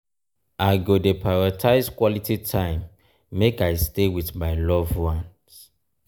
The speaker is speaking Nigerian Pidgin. i go dey prioritize quality time make i stay with my loved ones.